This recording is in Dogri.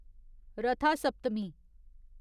रथा सप्तमी